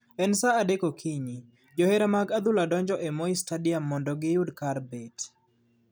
En saa adek okinyi ,johera mag adhula donjoe e Moi stadium mondo giyud kar bet.